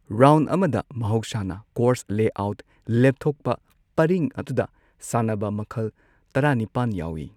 Round ꯑꯃꯗ ꯃꯍꯧꯁꯥꯅ course layout ꯂꯦꯞꯊꯣꯛꯄ ꯄꯔꯤꯡ ꯑꯗꯨꯗ ꯁꯥꯟꯅꯕ ꯃꯈꯜ ꯇꯔꯥꯅꯤꯄꯥꯟ ꯌꯥꯎꯋꯤ꯫